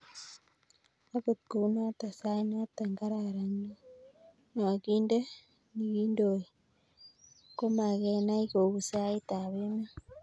Akot kounoto sait noto kararan nokonde nikondoi komakenai kou sait ab emet.